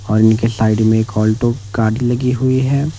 और इनके साइड में आल्टो काड़ी लगी हुई हैं।